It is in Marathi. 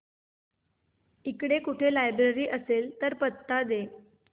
इकडे कुठे लायब्रेरी असेल तर पत्ता दे